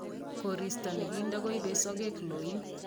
Koristo nikinto kuibei sokek loin .